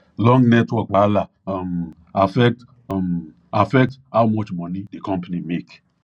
long network wahala um affect um affect how much money di company make